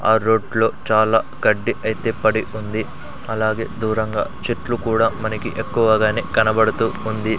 ఆ రోడ్లో చాలా గడ్డి ఐతే పడి ఉంది అలాగె దూరంగ చెట్లు కూడ మనకి ఎక్కువగానే కనబడుతూ ఉంది.